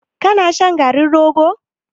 Ka na shan garin rogo?